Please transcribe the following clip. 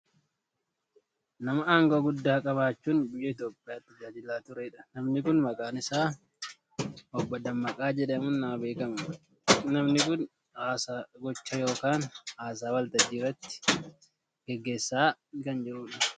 Nama aangoo guddaa qabaachuun biyya Itoopiyaa tajaajilaa ture dha. Namni kun maqaan isaa Obbo Dammaqaa jedhamuun nama beekkamu dha. Namni kun haasaa gochaa yookaan haasaa waltajjiirratti gaggeessaa kan jiru dha.